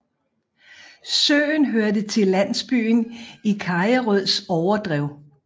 Søen hørte til landsbyen Kajerøds overdrev